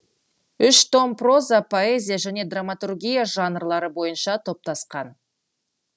үш том проза поэзия және драматургия жанрлары бойынша топтасқан